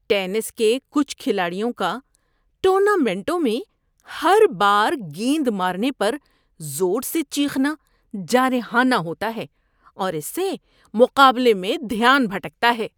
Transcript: ‏Tennis کے کچھ کھلاڑیوں کا ٹورنامنٹوں میں ہر بار گیند مارنے پر زور سے چیخنا جارحانہ ہوتا ہے اور اس سے مقابلے میں دھیان بھٹکتا ہے۔